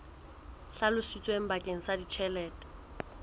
hlalositsweng bakeng sa ditjhelete tse